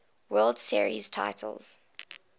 world series titles